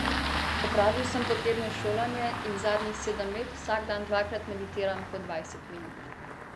Opravil sem potrebno šolanje in zadnjih sedem let vsak dan dvakrat meditiram po dvajset minut.